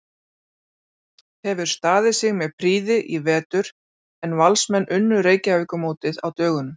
Hefur staðið sig með prýði í vetur en Valsmenn unnu Reykjavíkurmótið á dögunum.